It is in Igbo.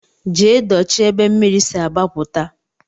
Jee dochie ebe mmiri si agbaputa.